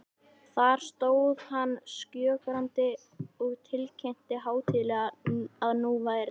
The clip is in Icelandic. Þar stóð hann skjögrandi og tilkynnti hátíðlega, að nú væri